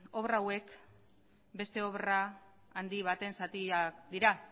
obra hauek beste obra handi baten zatiak dira